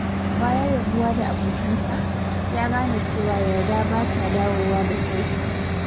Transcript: Bayan rabuwa da abokansa, ya gane cewa yarda ba ta dawowa da sauƙi.